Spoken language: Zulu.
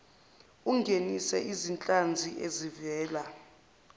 ungenise izinhlanzi ezivela